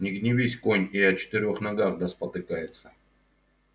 не гневись конь и о четырёх ногах да спотыкается